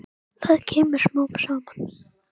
Það kemur smám saman.